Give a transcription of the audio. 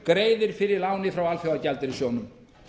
greiðir fyrir láni frá alþjóðagjaldeyrissjóðnum